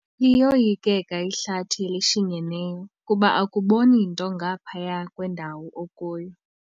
Liyoyikeka ihlathi elishinyeneyo kuba akuboni nto ngaphaya kwendawo okuyo.